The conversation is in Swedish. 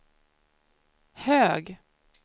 hög